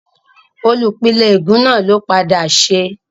Olùpìnlẹ́ ègún náà ló padà ṣẹ́